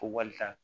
Ko walita